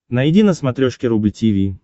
найди на смотрешке рубль ти ви